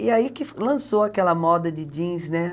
E aí que lançou aquela moda de jeans, né?